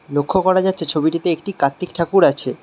লক্ষ করা যাচ্ছে ছবিটিতে একটি কাত্তিক ঠাকুর আছে।